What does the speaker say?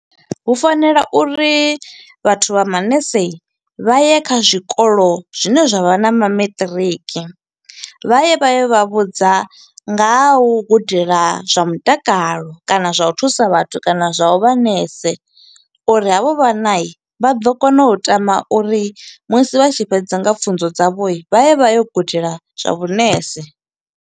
Hu fanela uri vhathu vha manese vha ye kha zwikolo zwine zwa vha na ma matric, vha ye vha ye vha vhudza nga ha u gudela zwa mutakalo, kana zwa u thusa vhathu, kana zwa u vha nese. Uri ha vho vhanayi, vha ḓo kona u tama uri musi vha tshi fhedza nga pfunzo dza vho, vha ye vha yo gudela zwa vhunese.